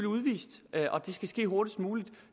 udvist og det skal ske hurtigst muligt